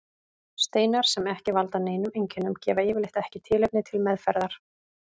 Steinar sem ekki valda neinum einkennum gefa yfirleitt ekki tilefni til meðferðar.